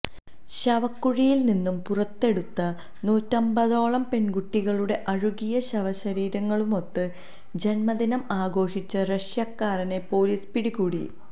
ശവക്കുഴിയിൽനിന്ന് പുറത്തെടുത്ത നൂറ്റമ്പതോളം പെൺകുട്ടികളുടെ അഴുകിയ ശവശരീരങ്ങളുമൊത്ത് ജന്മദിനം ആഘോഷിച്ച റഷ്യക്കാരനെ പൊലീസ് പിടികൂടി